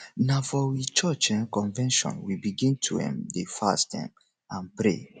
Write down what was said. na for we church um convention we begin to um dey fast um and pray